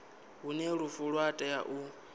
hune lufu lwa tea u